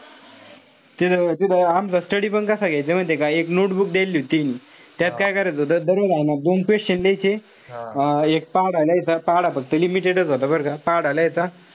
तिथं तिथं आमचा study पण कसा घ्यायचे माहितीये का? एक notebook द्यायली होती त्याहींनी. त्यात काय करायचं होत. दररोज हाये ना दोन question लिहायचे. एक पाढा लिहायचा. पाढा फक्त limited च होता बरं का. पाढा लिहायचा.